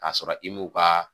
K'a sɔrɔ i m'o ka